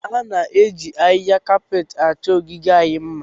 A na-eji ahịhịa kapetị chọọ ogige anyị mma